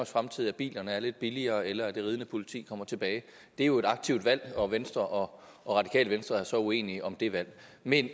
fremtid at bilerne er lidt billigere eller at det ridende politi kommer tilbage det er jo et aktivt valg og venstre og radikale venstre er så uenige om det valg men